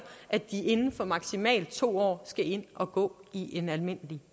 at de inden for maksimalt to år skal ind og gå i en almindelig